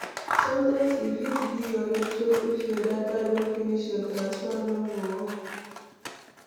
Sometimes e fit be your network if your data don finish your transfer no go work